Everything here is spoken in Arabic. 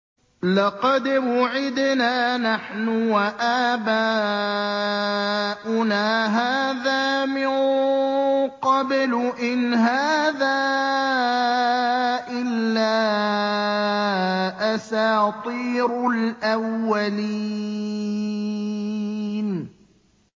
لَقَدْ وُعِدْنَا نَحْنُ وَآبَاؤُنَا هَٰذَا مِن قَبْلُ إِنْ هَٰذَا إِلَّا أَسَاطِيرُ الْأَوَّلِينَ